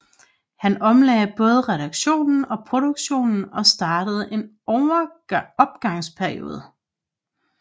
Han omlagde både redaktionen og produktionen og startede en opgangsperiode